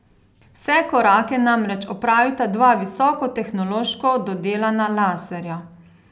Vse korake namreč opravita dva visoko tehnološko dodelana laserja.